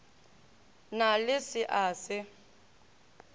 na le se a se